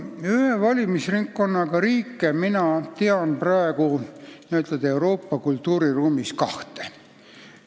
Ühe valimisringkonnaga riike tean mina praegu Euroopa kultuuriruumis kahte.